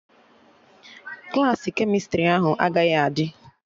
Klassị kemịstrị ahụ agaghị adị